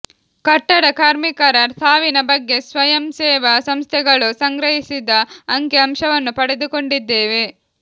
ಕಟ್ಟಡ ಕಾರ್ಮಿಕರ ಸಾವಿನ ಬಗ್ಗೆ ಸ್ವಯಂಸೇವಾ ಸಂಸ್ಥೆಗಳು ಸಂಗ್ರಹಿಸಿದ ಅಂಕಿ ಅಂಶವನ್ನೂ ಪಡೆದುಕೊಂಡಿದ್ದೇವೆ